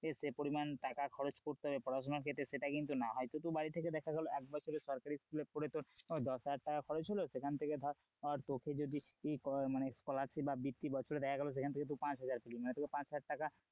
এ সে পরিমাণ টাকা খরচ করতে হবে পড়াশোনার ক্ষেত্রে সেটা কিন্তু না হয়তো তুই বাড়ি থেকে দেখা গেল এক বছরের সরকারি school এ পড়ে তোর দশ হাজার টাকা খরচ হল, সেখান থেকে ধর তোকে যদি ই মানে scholarship বা ভিত্তি বছরে দেখা গেলো সেখানে তুই পাঁচ হাজার পেলি মানে তোকে পাঁচ হাজার টাকা,